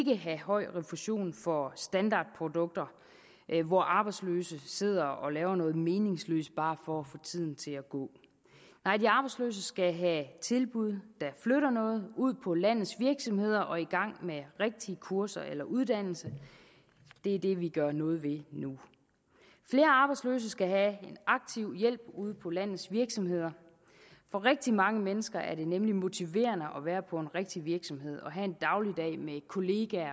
have høj refusion for standardprodukter hvor arbejdsløse sidder og laver noget meningsløst bare for at få tiden til at gå nej de arbejdsløse skal have tilbud der flytter noget skal ud på landets virksomheder og i gang med rigtige kurser eller uddannelse det er det vi gør noget ved nu flere arbejdsløse skal have en aktiv hjælp ude på landets virksomheder for rigtig mange mennesker er det nemlig motiverende at være på en rigtig virksomhed og have en dagligdag med kolleger